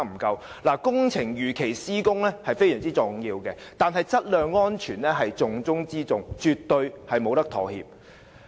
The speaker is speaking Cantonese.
工程如期施工十分重要，但質量安全是重中之重，絕對不能妥協。